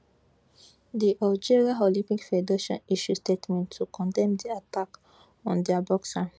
di algeria olympics federation issue statement to condemn di attack on dia boxer